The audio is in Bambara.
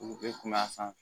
U bɛ kun b'a san